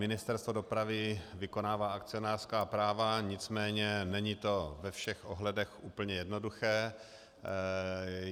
Ministerstvo dopravy vykonává akcionářská práva, nicméně není to ve všech ohledech úplně jednoduché.